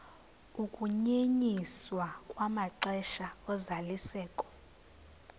ukunyenyiswa kwamaxesha ozalisekiso